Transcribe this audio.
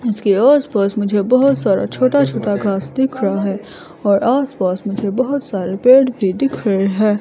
इसके आस पास मुझे बहोत सारा छोटा छोटा घास दिख रहा है और आस पास मुझे बहुत से पेड़ भी दिख रहे हैं।